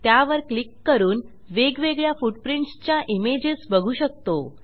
त्यावर क्लिक करून वेगवेगळ्या फुटप्रिंट्स च्या इमेजेस बघू शकतो